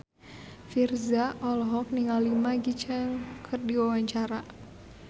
Virzha olohok ningali Maggie Cheung keur diwawancara